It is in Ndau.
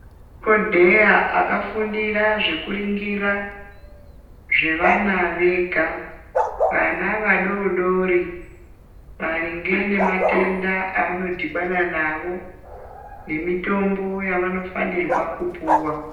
Kune madhokodheya akafundira zekuringira zvevana vega. Vana vadodori maringe nematenda avanodhibana nawo nemitombo yavanofanirwa kupuwa.